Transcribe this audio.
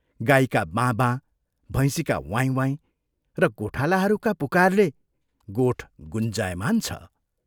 गाईका बाँ बाँ, भैंसीका वाइँ वाइँ र गोठालाहरूका पुकारले गोठ गुञ्जायमान छ।